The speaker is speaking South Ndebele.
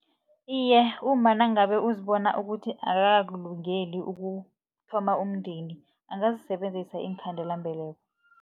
Iye, umma nangabe uzibona ukuthi akakakulungeli ukuthoma umndeni, angazisebenzisa iinkhandelambeleko.